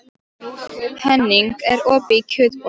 Henning, er opið í Kjötborg?